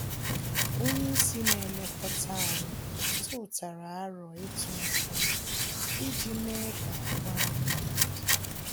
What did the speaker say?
Onye isi na-elekọta anyị tụtara aro ịtụ nkume iji mee ka ahụ anyị dị ike